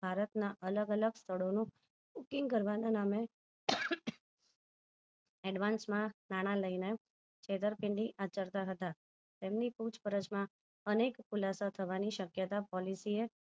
ભારત ના અલગ અલગ સ્થળોનું booking કરવાનાં નામે advance માં નાણા લઈને છેતરપીન્ડી આચરતા હતા તેમની પૂછ પરછ માં અનેક ખુલાસા થવાની શક્યત policy એ